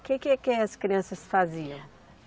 O que que que as crianças faziam?